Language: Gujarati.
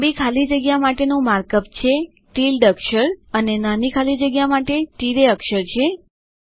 લાંબી ખાલી જગ્યા માટેનું માર્ક અપ છે ટિલ્ડ અક્ષર છે અને નાની ખાલી જગ્યા માટે તિરાય અક્ષર છે